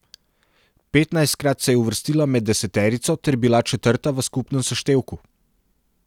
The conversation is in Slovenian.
Petnajstkrat se je uvrstila med deseterico ter bila četrta v skupnem seštevku.